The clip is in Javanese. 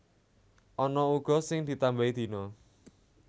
Ana uga sing ditambahi dina